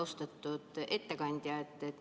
Austatud ettekandja!